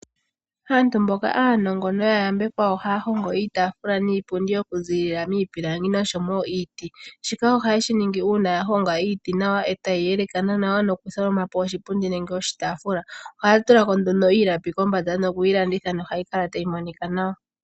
Aanu mboka aanongo no ya yambekwa ohaya hongo iitafula niipundi okuzilila miipilangi oshowo miiti. Shika ohaye shi ningi uuna ya honga iiti nawa e ta yi yeleka nawa nokutholoma po oshipundi nenge oshitafula. Ohaya tula ko nduno iilapi kombanda noku yi landitha, nohayi kala tayi monika nawa.